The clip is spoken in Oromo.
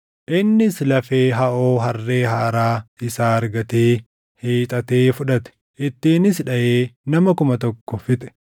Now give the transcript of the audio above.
Innis lafee haʼoo harree haaraa isaa argatee hiixatee fudhate; ittiinis dhaʼee nama kuma tokko fixe.